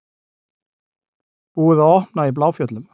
Búið að opna í Bláfjöllum